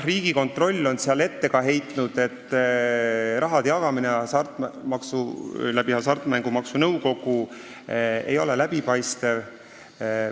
Riigikontroll on ette heitnud, et raha jagamine Hasartmängumaksu Nõukogu kaudu ei ole läbipaistev.